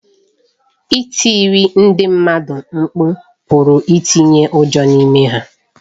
Ịtiri ndị mmadụ mkpu pụrụ itinye ụjọ n’ime ha.